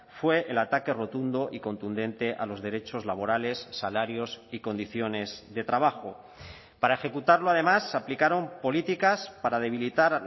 fue el ataque rotundo y contundente a los derechos laborales salarios y condiciones de trabajo para ejecutarlo además se aplicaron políticas para debilitar